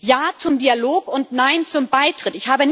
Ja zum Dialog und nein zum Beitritt.